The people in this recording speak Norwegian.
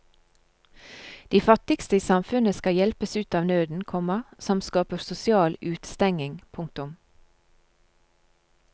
De fattigste i samfunnet skal hjelpes ut av nøden, komma som skaper sosial utestengning. punktum